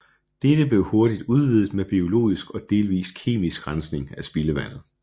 Dette blev hurtigt udvidet med biologisk og delvist kemisk rensning af spildevandet